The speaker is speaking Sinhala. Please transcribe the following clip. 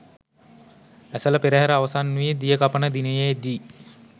ඇසළ පෙරහර අවසන් වී දියකපන දිනයේ දී